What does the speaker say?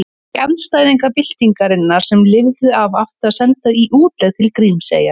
Þá andstæðinga byltingarinnar sem lifðu af átti að senda í útlegð til Grímseyjar.